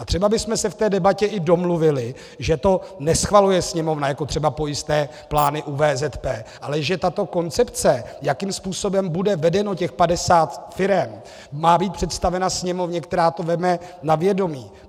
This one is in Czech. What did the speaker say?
A třeba bychom se v té debatě i domluvili, že to neschvaluje Sněmovna jako třeba pojistné plány u VZP, ale že tato koncepce, jakým způsobem bude vedeno těch 50 firem, má být představena Sněmovně, která to vezme na vědomí.